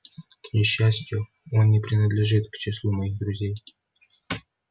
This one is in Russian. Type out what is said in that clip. к несчастью он не принадлежит к числу моих друзей